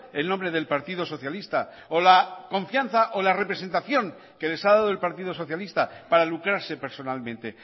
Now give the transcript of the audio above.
el nombre del partido socialista o la confianza o la representación que les ha dado el partido socialista para lucrarse personalmente